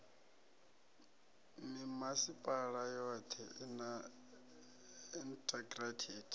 mimasipala yothe i na integrated